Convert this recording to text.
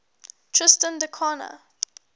tristan da cunha